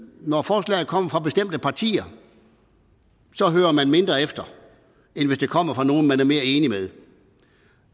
når forslag kommer fra bestemte partier hører man mindre efter end hvis det kommer fra nogle man er mere enig med